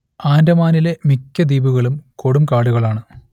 ആൻഡമാനിലെ മിക്ക ദ്വീപുകളും കൊടുംകാടുകളാണ്